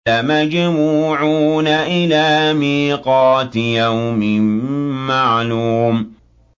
لَمَجْمُوعُونَ إِلَىٰ مِيقَاتِ يَوْمٍ مَّعْلُومٍ